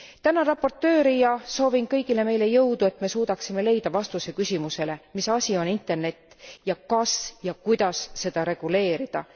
Tänan raportööri ja soovin kõigile meile jõudu, et me suudaksime leida vastuse küsimusele mis asi on Internet ja kas ja kuidas seda reguleerida?